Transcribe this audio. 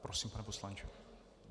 Prosím, pane poslanče.